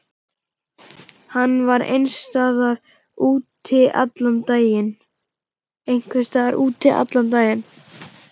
Hann vann einhvers staðar úti allan daginn.